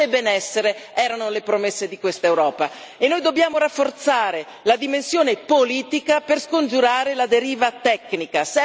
Pace e benessere erano le promesse di questa Europa e noi dobbiamo rafforzare la dimensione politica per scongiurare la deriva tecnica.